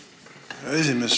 Aitäh, hea esimees!